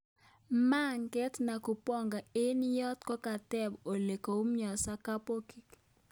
Mang'et Nakubonga eng yot kotaben ole koumionso kabokiik